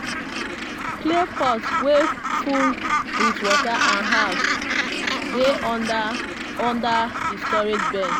clay pot wey full with water and herbs dey under under di storage bench.